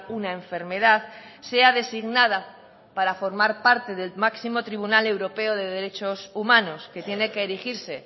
una enfermedad sea designada para formar parte del máximo tribunal europeo de derechos humanos que tiene que erigirse